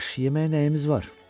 Yaxşı, yeməyə nəyimiz var?